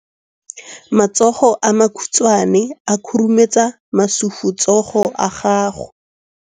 Matsogo a makhutshwane a khurumetsa masufutsogo a gago.